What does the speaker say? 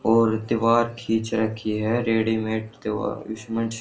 और दीवार खीच रखी है रेडीमेड --